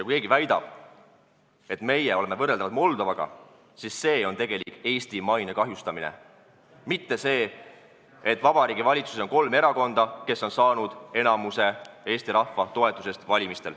Kui keegi väidab, et meie oleme võrreldavad Moldovaga, siis see on tegelik Eesti maine kahjustamine, mitte see, et Vabariigi Valitsuses on kolm erakonda, kes on valimistel saanud Eesti rahva enamuse toetuse.